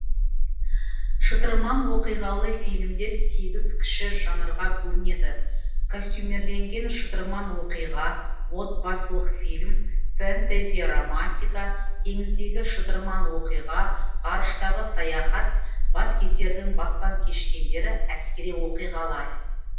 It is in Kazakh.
шытырман оқиғалы фильмдер сегіз кіші жанрға бөлінеді костюмирленген шытырман оқиға отбасылық фильм фэнтези романтика теңіздегі шытырман оқиға ғарыштағы саяхат баскесердің бастан кешкендері әскери оқиғалар